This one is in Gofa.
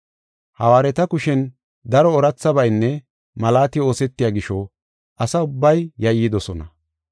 Hawaareta kushen daro oorathabaynne malaati oosetiya gisho asa ubbay yayidosona.